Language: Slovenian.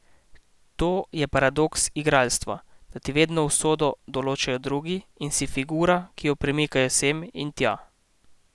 To je paradoks igralstva, da ti vedno usodo določajo drugi in si figura, ki jo premikajo sem in tja.